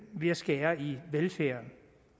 ved at skære i velfærden